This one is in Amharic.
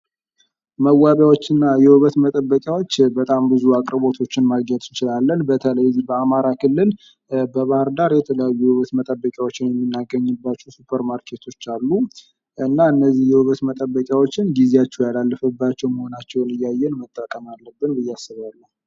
መዋቢያዎች እና የውበት መጠበቂያዎች በጣም ብዙ አቅርቦቶችን ማግኘት እንችላለን። በተለይ እዚህ በአማራ ክልል በባህርዳር የተለያዩ የውበት መጠበቂያዎችን የምናገኝባቸው ሱፐር ማርኬቶች አሉ። እና እነዚህ የውበት መጠበቂያዎችን ጊዜአቸው ያላለፈባቸው መሆናቸውን እያየን መጠቀም አለብን ብየ አስባለሁ።